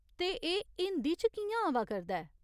ते एह् हिंदी च कि'यां आवा करदा ऐ ?